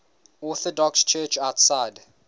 orthodox church outside